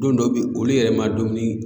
Don dɔ bɛ ye olu yɛrɛ ma dumuni